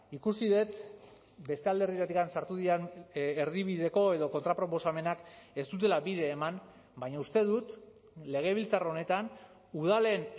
ikusi dut beste alderditik sartu diren erdibideko edo kontra proposamenak ez dutela bide eman baina uste dut legebiltzar honetan udalen